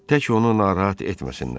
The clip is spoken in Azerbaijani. Tək onu narahat etməsinlər.